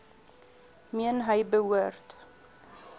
meen hy behoort